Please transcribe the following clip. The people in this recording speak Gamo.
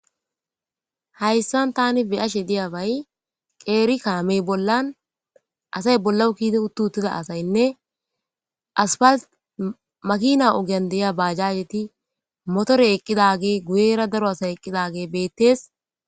hayssan tani beyashe diyabay qeeri kaamey bollan asay bollawu ke'i uttu uttida asaynne asfal makina ogan deyia baajaheti motore eqqidage guyera daro asay eqqidage beettees